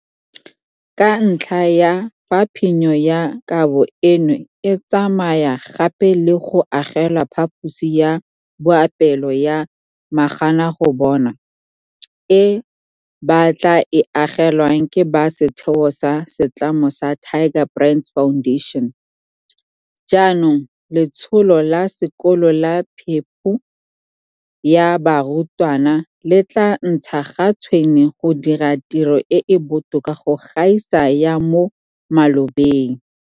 Ka ntlha ya fa phenyo ya kabo eno e tsamaya gape le go agelwa phaposi ya boapeelo ya maganagobonwa e ba tla e agelwang ke ba setheo sa setlamo sa Tiger Brands Foundation, jaanong letsholo la sekolo la phepo ya barutwana le tla ntsha ga tshwene go dira tiro e e botoka go gaisa ya mo malobeng.